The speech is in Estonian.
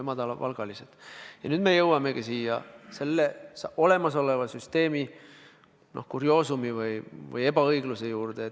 Aga nüüd me jõuamegi selle olemasoleva süsteemi, noh, kurioosumi või ebaõigluse juurde.